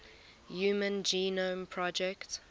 human genome project